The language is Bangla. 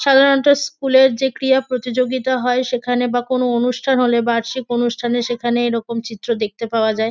সাধারণত স্কুল -এর যে ক্রীড়া প্রতিযোগিতা হয়। সেখানে বা কোনও অনুষ্ঠান হলে বার্ষিক অনুষ্ঠানে সেখানে এরকম চিত্র দেখতে পাওয়া যায়।